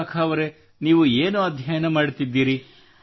ವಿಶಾಖಾ ಅವರೆ ನೀವು ಏನು ಅಧ್ಯಯನ ಮಾಡುತ್ತಿದ್ದೀರಿ